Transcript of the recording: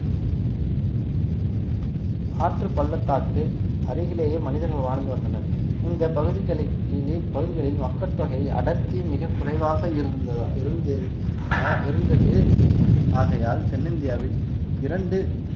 ஆற்று பள்ளத்தாக்கு அருகிலேயே மனிதர்கள் வாழ்ந்து வந்தனர் இந்த பகுதிகளுக்கு கீழே பகுதிகளில் மக்கள் தொகை அடர்த்தி மிகக் குறைவாக இருந்ததா இருந்தது இருந்தது ஆகையால் தென்னிந்தியாவில் இரண்டு